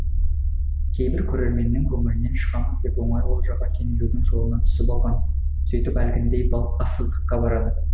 кейбір көрерменнің көңілінен шығамыз деп оңай олжаға кенелудің жолына түсіп алған сөйтіп әлгіндей бассыздыққа барады